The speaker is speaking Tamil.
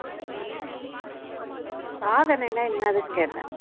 சாதனைன்னா என்னதுன்னு கேட்டேன்